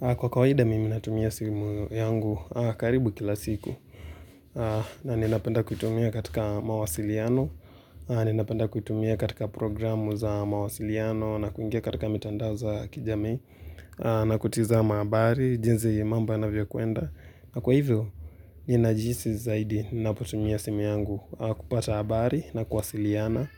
Kwa kawaida mimi natumia simu yangu karibu kila siku. Ninapenda kuitumia katika mawasiliano Ninapenda kuitumia katika programu za mawasiliano na kuingia katika mitandao za kijamii na kutizama habari jinsi mambo yanavyokwenda. Kwa hivyo, ninajihisi zaidi ninapotumia simu yangu kupata habari na kuwasiliana